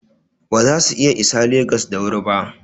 Ba za su iya isa Legas da wuri ba.